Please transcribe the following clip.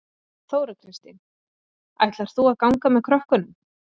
Þóra Kristín: Ætlar þú að ganga með krökkunum?